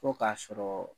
Fo k'a sɔrɔ